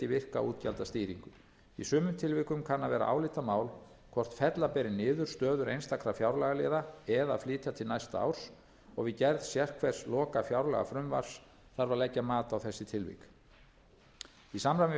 virka útgjaldastýringu í sumum tilvikum kann að vera álitamál hvort fella beri niður stöður einstakra fjárlagaliða eða flytja til næsta árs og við gerð sérhvers lokafjárlagafrumvarps þarf að leggja mat á þessi tilvik í samræmi við